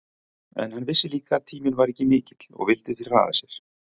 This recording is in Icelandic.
En hann vissi líka að tíminn var ekki mikill og vildi því hraða sér.